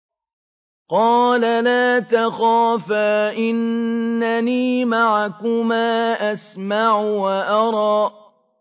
قَالَ لَا تَخَافَا ۖ إِنَّنِي مَعَكُمَا أَسْمَعُ وَأَرَىٰ